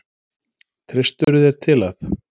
Treystirðu þér til að?